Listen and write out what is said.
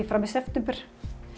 fram í september